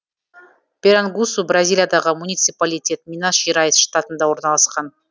пирангусу бразилиядағы муниципалитет минас жерайс штатында орналасқан